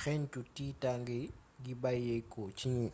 xégncu tiitangé gi bayyéko ci gnii